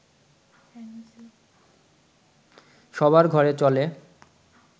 সবার ঘরে চলে